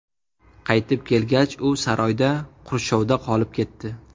Qaytib kelgach, u saroyda qurshovda qolib ketdi.